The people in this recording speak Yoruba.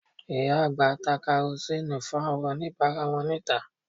Ìyá àgbà ń ta Karosíìnù fún àwọn oníbàárà wọn níta